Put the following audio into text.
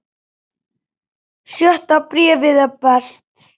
Sjötta bréfið er best.